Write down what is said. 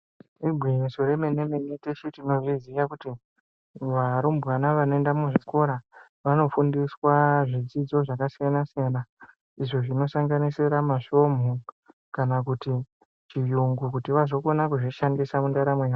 Igwinyiso remene-mene teshe tinozviziya kuti arumbwana vanoenda muzvikora vanofundiswa zvidzidzo zvakasiyana-siyana izvo zvinosanganisira masvomhu kana kuti chiyungu kuti vazokona kuzvishandisa mundaramo yavo.